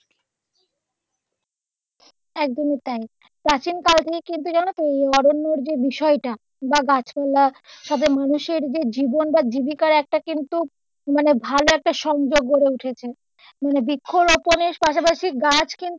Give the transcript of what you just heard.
একদমই তাই কিন্তু জানোতো এই অরণ্যের যে বিষয়টা বা গাছ মানুষের যে জীবন বা জীবিকার একটা কিন্তু মানে ভালো একটা সংযোগ গড়ে উঠেছে মানে বৃক্ষ রোপণের পাশাপাশি কিন্তু,